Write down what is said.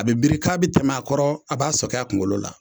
A bɛ biri k'a bɛ tɛmɛ a kɔrɔ a b'a sɔgin a kunkolo la